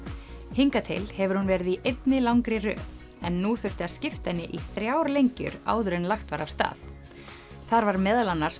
hingað til hefur hún verið í einni langri röð en nú þurfti að skipta henni í þrjár lengjur áður en lagt var af stað þar var meðal annars